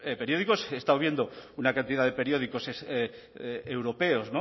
periódicos he estado viendo una cantidad de periódicos europeos